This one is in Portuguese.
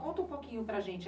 Conta um pouquinho para a gente.